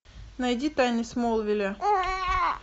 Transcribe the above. найди тайны смолвиля